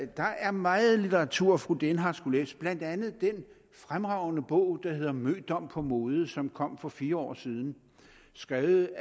der er meget litteratur fru dehnhardt skulle læse blandt andet den fremragende bog der hedder mødom på mode og som kom for fire år siden skrevet